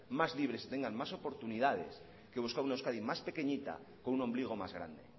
más libres y tengan más oportunidades que buscar una euskadi más pequeñita con un ombligo más grande